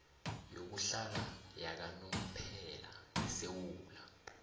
yokuhlala yakanomphela yesewula